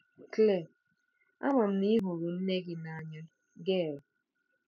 Claire: Ama m na ị hụrụ nne gị n'anya, Gail.